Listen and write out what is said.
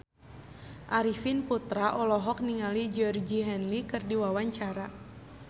Arifin Putra olohok ningali Georgie Henley keur diwawancara